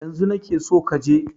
Yanzu na ke so ka je!